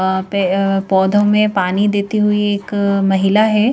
वहां पे अ पौधों में पानी देती हुई एक महिला है।